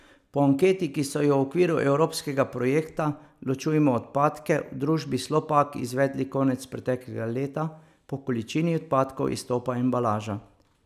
Po anketi, ki so jo v okviru evropskega projekta Ločujmo odpadke v družbi Slopak izvedli konec preteklega leta, po količini odpadkov izstopa embalaža.